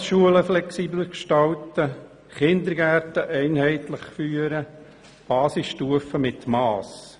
Tagesschulen flexibler gestalten, Kindergärten einheitlich führen und Basisstufe mit Mass.